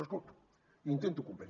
els escolto i intento comprendre